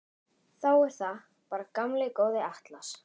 Þá er það bara gamli góði Atlas.